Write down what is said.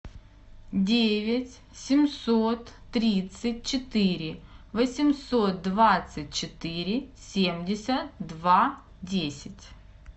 девять семьсот тридцать четыре восемьсот двадцать четыре семьдесят два десять